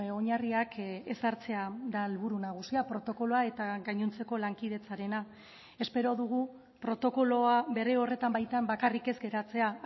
oinarriak ezartzea da helburu nagusia protokoloa eta gainontzeko lankidetzarena espero dugu protokoloa bere horretan baitan bakarrik ez geratzea